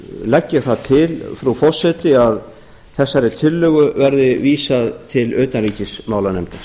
legg ég það til frú forseti að þessari tillögu verði vísað til utanríkismálanefndar